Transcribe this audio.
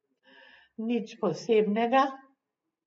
Nič posebnega.